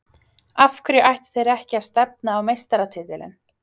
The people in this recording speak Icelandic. Af hverju ættu þeir ekki að stefna á meistaratitilinn?